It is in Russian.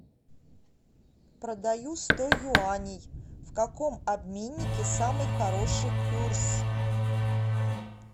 продаю сто юаней в каком обменнике самый хороший курс